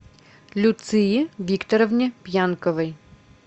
люции викторовне пьянковой